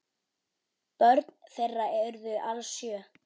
Börn þeirra urðu alls sjö.